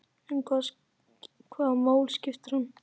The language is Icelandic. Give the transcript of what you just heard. En hvaða máli skiptir hann?